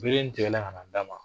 Bere in tigɛlen ka na d'a ma